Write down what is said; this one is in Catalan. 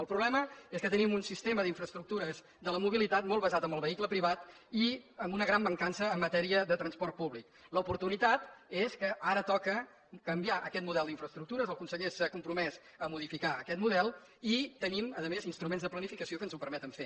el problema és que tenim un sistema d’infraestructures de la mobilitat molt basat en el vehicle privat i amb una gran mancança en matèria de transport públic l’oportunitat és que ara toca canviar aquest model d’infraestructures el conseller s’ha compromès a modificar aquest model i tenim a més instruments de planificació que ens ho permeten fer